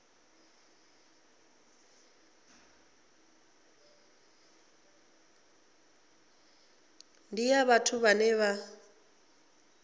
ndi ya vhathu vhane vha